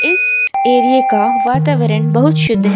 इस एरिये का वातावरण बहुत शुद्ध है।